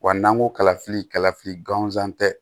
Wa n'an ko kalafili kalafili gansan tɛ